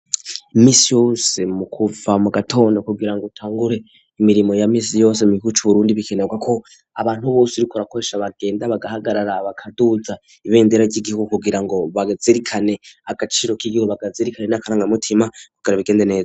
Minsi yose mu kuva mugatondo kugirango utangure imirimo ya minsi yose mu gihugu c'uburundi bikenerwa ko abantu bose uriko urakoresha bagenda bagahagarara bakaduza ibendera ry'igihugu kugirango bazirikane agaciro k'igihugu, bazirikane n'akarangamutima kugira bigende neza.